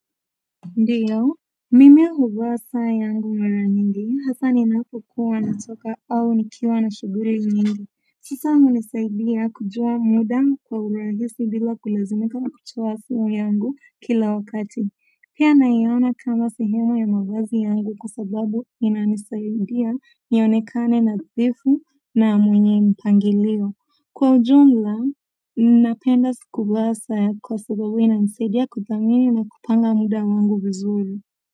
Ndiyo mimi huvaa saa yangu mara nyingi hata ninapokuwa natoka au nikiwa na shughuli nyingi saa hunisaidia kujua muda kwa urahisi bila kulazimika kutoa simu yangu kila wakati pia naiona kama sehemu ya mawazi yangu kwa sababu inanisaidia nionekane nadhifu na mwenye mpangilio kwa ujumla, ninapenda kuvaa saa kwa sababu inanisaidia kudhamini na kupanga muda wangu vizuri.